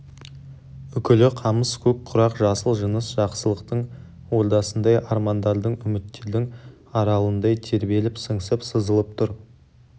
үкілі қамыс көк құрақ жасыл жыныс жақсылықтың ордасындай армандардың үміттердің аралындай тербеліп сыңсып сызылып тұр